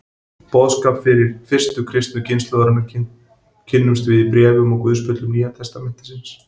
Boðskap fyrstu kristnu kynslóðarinnar kynnumst við í bréfum og guðspjöllum Nýja testamentisins.